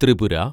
Tripura